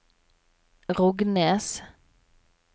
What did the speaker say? Rognes